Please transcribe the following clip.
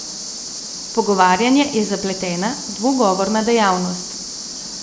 Pogovarjanje je zapletena, dvogovorna dejavnost.